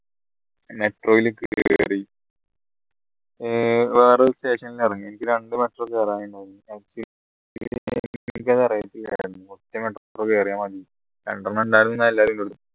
metro ൽ ഏർ വേറെ ഒരു station ൽ ഇറങ്ങി എനിക്ക് രണ്ട് metro കേറാന് ഉണ്ടായിരുന്നു metro കേറിയാ മതി രണ്ടെണ്ണം ഉണ്ടായിരുന്നു എന്ന എല്ലാരും